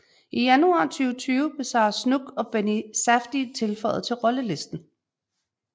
I januar 2020 blev Sarah Snook og Benny Safdie tilføjet til rollelisten